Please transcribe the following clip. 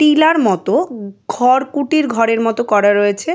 Tiller মতো উ ঘর কুটির ঘরের মতো করা রয়েছে।